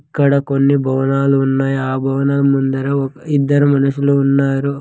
ఇక్కడ కొన్ని భవనాలు ఉన్నాయి ఆ భవనాల ముందర ఒక్-- ఇద్దరు మనుషులు ఉన్నారు.